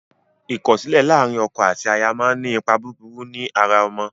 Ikọsilẹ làrin ọkọ àti àyà món ní ni Ipá búburú ní àrà ọmọ.